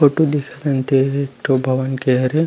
Photo देखत हन ते ह एक ठो भवन के हरे।